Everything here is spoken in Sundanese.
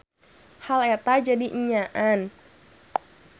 Hal eta jadi enyaan.